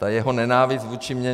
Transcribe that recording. Ta jeho nenávist vůči mně.